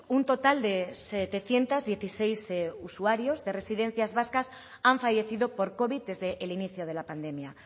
un total de setecientos dieciséis usuarios de residencias vascas han fallecido por covid desde el inicio de la pandemia